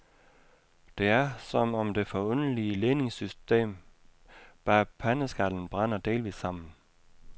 Det er, som om det forunderlige ledningssystem bag pandeskallen brænder delvis sammen.